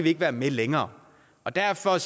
ikke være med længere derfor